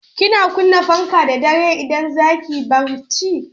Kina kunna fanka da dare idan za ki yi barci?